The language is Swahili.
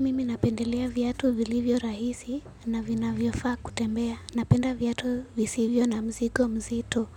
Mimi napendelea viatu vilivyo rahisi na vinavyofaa kutembea. Napenda viatu visivyo na mzigo mzito.